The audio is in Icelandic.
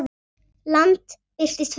Land birtist fyrir neðan þá.